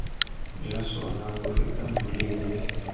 jwa sona bo fetang boleele